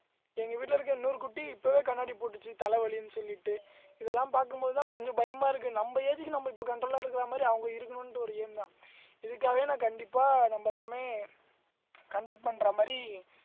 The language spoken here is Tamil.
எங்க வீட்டுல இருக்க இன்னொரு குட்டி இப்பவே கண்ணாடி போட்டுச்சு தலைவலின்னு சொல்லிட்டு இதெல்லாம் பார்க்கும் போதுதான் கொஞ்சம் பயமா இருக்கு நம்ம age க்கு நம்ம இப்ப control ஆ இருக்கிற மாதிரி அவங்க இருக்கணும்ன்ட்டு ஒரு aim தான் இதுக்காகவே நான் கண்டிப்பா நம்ம எல்லாமே conduct பண்ற மாதிரி